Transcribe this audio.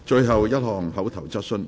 最後一項口頭質詢。